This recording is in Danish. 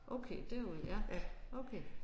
Okay derude ja okay